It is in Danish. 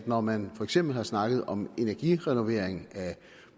når man for eksempel har snakket om energirenovering af